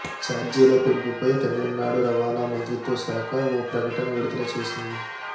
చార్జీల పెంపుపై తమిళనాడు రవాణా మంత్రిత్వ శాఖ ఓ ప్రకటన విడుదల చేసింది